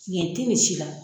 Tiɲɛ tɛ nin si la.